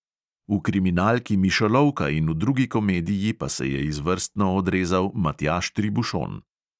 V kriminalki mišolovka in v drugi komediji pa se je izvrstno odrezal matjaž tribušon.